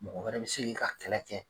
Mɔgɔ wɛrɛ be se ka e ka kɛlɛ kɛ